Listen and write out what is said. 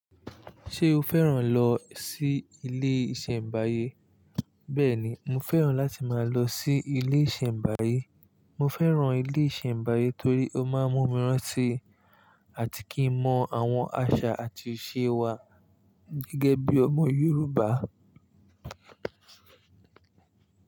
Ṣé o fẹ́ràn lọ sí ilé ìṣẹ̀mbáyé? Bẹ́ẹ̀ni, mo fẹ́ràn láti máa lọ sí ilé ìṣẹ̀mbáyé. Mo fẹ́ràn ilé ìṣẹ̀mbáyé torí ó máa ń mú mi rántí àti kí n mọ àwọn àṣà àti ìṣe wa gẹ́gẹ́ bí ọmọ Yorùbá.